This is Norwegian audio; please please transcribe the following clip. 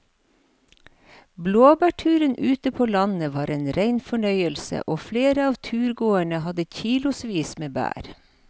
Blåbærturen ute på landet var en rein fornøyelse og flere av turgåerene hadde kilosvis med bær.